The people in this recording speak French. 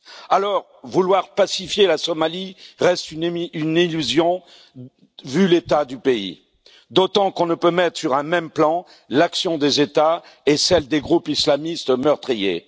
Alors, vouloir pacifier la Somalie reste une illusion, vu l'état du pays, d'autant qu'on ne peut mettre sur un même plan l'action des États et celle des groupes islamistes meurtriers.